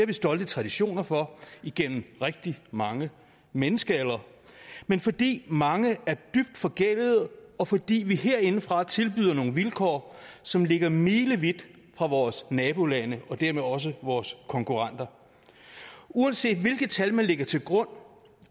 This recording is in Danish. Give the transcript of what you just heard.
vi stolte traditioner for igennem rigtig mange menneskealdre men fordi mange er dybt forgældede og fordi vi herindefra tilbyder nogle vilkår som ligger milevidt fra vores nabolande og dermed også vores konkurrenter uanset hvilke tal man lægger til grund